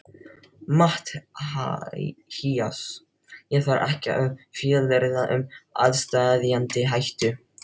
MATTHÍAS: Ég þarf ekki að fjölyrða um aðsteðjandi hættu.